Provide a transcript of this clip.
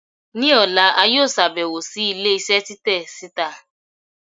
ni òlá, a yóò ṣabẹwo si ilé isé titẹ sita.